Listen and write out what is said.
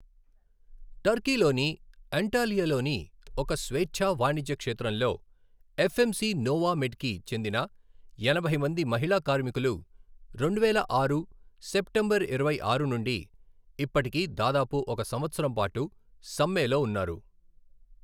టర్కీలోని అంటాలియాలోని ఒక స్వేచ్ఛా వాణిజ్య క్షేత్రంలో, ఎఫ్ఎంసి నోవామెడ్కి చెందిన ఎనభై మంది మహిళా కార్మికులు రెండువేల ఆరు సెప్టెంబర్ ఇరవై ఆరు నుండి ఇప్పటికి దాదాపు ఒక సంవత్సరం పాటు సమ్మెలో ఉన్నారు.